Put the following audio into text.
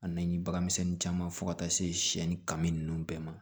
A na ni bagan misɛnni caman fɔ ka taa se siyɛnni kan ninnu bɛɛ ma